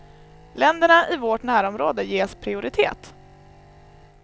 Länderna i vårt närområde ges prioritet.